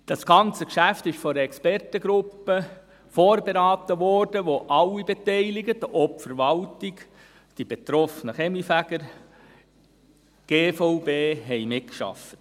Das ganze Geschäft wurde von einer Expertengruppe vorberaten, in der alle Beteiligten – auch die Verwaltung, die betroffenen Kaminfeger, die GVB – mitarbeiteten.